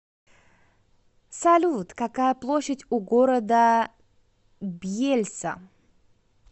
салют какая площадь у города бьельса